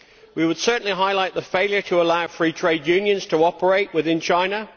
We would certainly highlight the failure to allow free trade unions to operate within China.